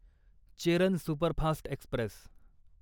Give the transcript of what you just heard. Cheran superfast Express